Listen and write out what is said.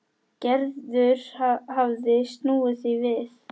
Gerður hafði snúið því við.